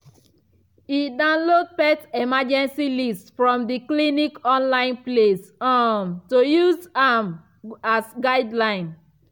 e download pet emergency list from the clinic online place um to use am as guideline